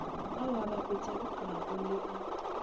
ao a bapetpegago le a